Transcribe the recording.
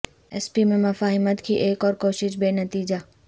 S P میں مفاہمت کی ایک اور کوشش بے نتیجہ